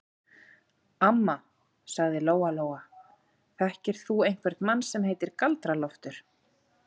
Amma, sagði Lóa Lóa, þekkir þú einhvern mann sem heitir Galdra-Loftur?